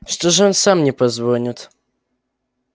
что же он сам не позвонит